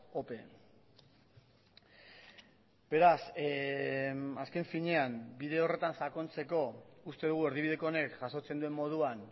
ope beraz azken finean bide horretan sakontzeko uste dugu erdibideko honek jasotzen duen moduan